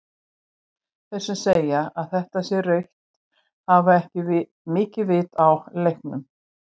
Þeir sem segja að þetta sé rautt hafa ekki mikið vit á leiknum.